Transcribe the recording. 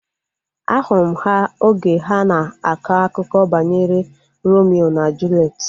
Ahụrụ m ha oge ha na-akọ akụkọ banyere Romio na Juliet